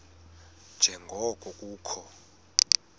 nje ngoko kukho